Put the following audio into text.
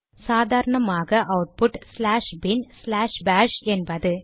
சாதரணமாக output slash bin slash bash என்பது